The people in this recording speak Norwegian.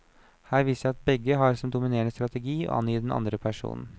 Her viser det seg at begge har som dominerende strategi å angi den andre personen.